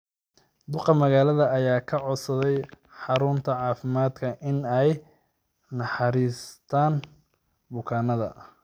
Duqaa Magaalada ayaa ka codsaday xarunta caafimaadka in ay u naxariistaan ​​bukaanada.